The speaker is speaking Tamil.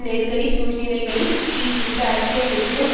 நெருக்கடி சூழ்நிலைமைகளின் கீழ் இந்த அரசியல் வெற்றிடம்